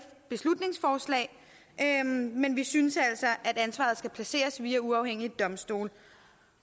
beslutningsforslag men vi synes altså at ansvaret skal placeres via uafhængige domstole